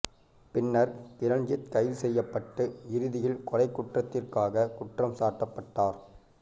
பின்னர் கிரண்ஜித் கைது செய்யப்பட்டு இறுதியில் கொலைக் குற்றத்திற்காக குற்றம் சாட்டப்பட்டார்